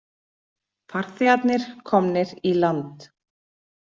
Farþegarnir komnir í land